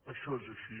això és així